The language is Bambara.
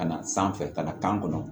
Ka na sanfɛ ka na kan kɔnɔ